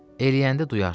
Eləyəndə duyarsan.